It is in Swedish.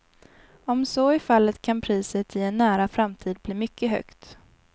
Om så är fallet kan priset i en nära framtid bli mycket högt.